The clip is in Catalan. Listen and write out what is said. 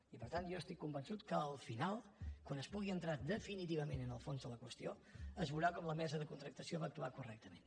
i per tant jo estic convençut que al final quan es pugui entrar definitivament en el fons de la qüestió es veurà com la mesa de contractació va actuar correctament